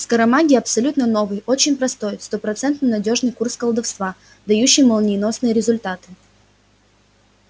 скоромагия абсолютно новый очень простой стопроцентно надёжный курс колдовства дающий молниеносные результаты